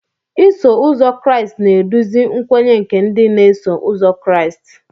Iso ụzọ Kraịst na-eduzi nkwenye nke ndị na-eso ụzọ Kraịst.